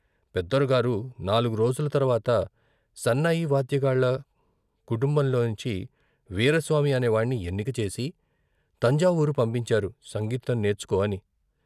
పెదొరగారు నాల్గు రోజులు తర్వాత సన్నాయి వాద్యగాళ్ళ కుటుంబంలోంచి " వీరాస్వామి " అనేవాణ్ణి ఎన్నిక చేసి తంజావూరు పంపించారు సంగీతం నేర్చుకో అని.